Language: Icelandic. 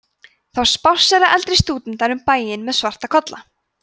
þá spássera eldri stúdentar um bæinn með svarta kolla